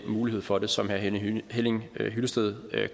mulighed for det som herre henning hyllested